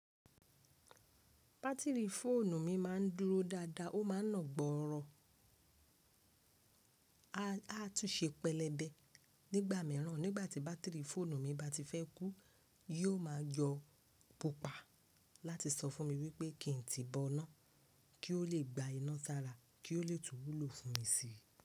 Batiri fóònù mi ma n dúró dáadáa, ó ma n nàgbọ́rọ̀. A tún ṣe pẹlẹbẹ nígbà míràn nígbàtí batiri fóònù mi bá ti fẹ́ kú, yóò ma yọ pupa láti sọ fún mi wípé kí n tí bọ ọ̀nà kí ó lè gba iná sara kí ó lè tún wúlò fún mi sí.